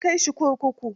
An kai shi kurkuku?